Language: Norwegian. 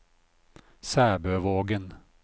Sæbøvågen